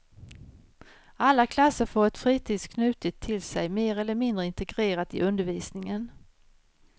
Alla klasser får ett fritids knutet till sig, mer eller mindre integrerat i undervisningen.